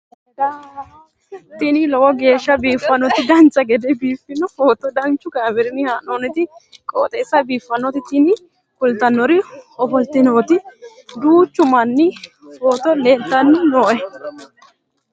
tini lowo geeshsha biiffannoti dancha gede biiffanno footo danchu kaameerinni haa'noonniti qooxeessa biiffannoti tini kultannori ofollinanniti duuchu dani footo leeltanni nooe